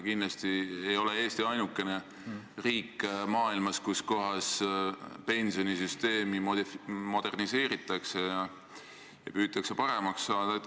Kindlasti ei ole Eesti ainukene riik maailmas, kus pensionisüsteemi moderniseeritakse, püütakse paremaks saada.